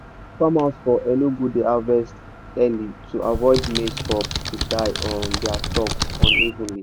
farmers for enugu dey harvest earlyto avoid mazie cobs to die on dai stalks unevenly.